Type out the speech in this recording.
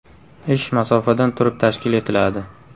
Ish masofadan turib tashkil etiladi.